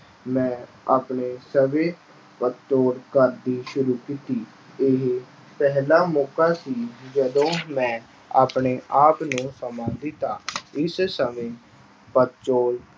ਮੈਂ ਆਪਣੇ ਸ਼ੁਰੂ ਕੀਤੀ। ਇਹ ਪਹਿਲਾ ਮੌਕਾ ਸੀ ਜਦੋਂ ਮੈਂ ਆਪਣੇ-ਆਪ ਨੂੰ ਸਮਾਂ ਦਿੱਤਾ। ਇਸ ਸਮੇਂ